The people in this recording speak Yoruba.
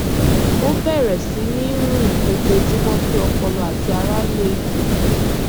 ó bẹrẹ sí ní rìn lójóojúmọ kí ọpọlọ àti ara le